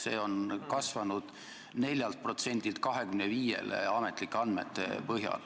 See on ametlikel andmetel kasvanud 4%-lt 25-le.